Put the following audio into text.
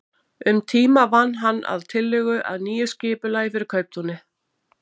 Um tíma vann hann að tillögu að nýju skipulagi fyrir kauptúnið.